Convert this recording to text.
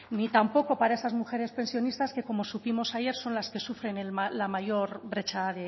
ni tampoco para esas mujeres pensionistas que como supimos ayer son las que sufren la mayor brecha